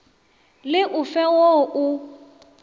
le o fe wo o